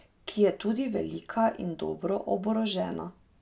Ki je tudi velika in dobro oborožena.